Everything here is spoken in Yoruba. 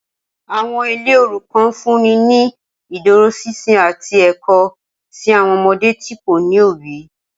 Awọn ile orukan nfunni ni iduroṣinṣin ati ẹkọ si awọn ọmọde ti ko ni obi.